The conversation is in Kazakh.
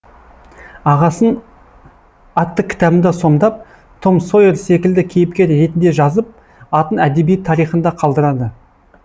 ағасын атты кітабында сомдап том сойер секілді кейіпкер ретінді жазып атын әдебиет тарихында қалдырады